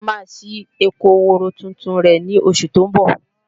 Táyọ̀ máa ṣí oko ehoro tuntun rẹ̀ ní oṣù tó ń bọ̀